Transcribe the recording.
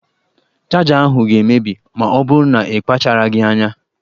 Chaja ahụ ga-emebi ma ọ bụrụ na-ịkpacharaghị anya.